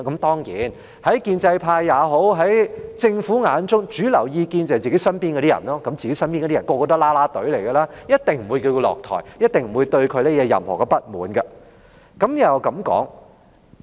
當然，在建制派或政府眼中，主流意見便是身邊的人，他們全都是"啦啦隊"，一定不會要她下台，一定不會對她有任何不滿。